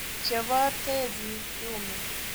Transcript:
Chebo tezi dume?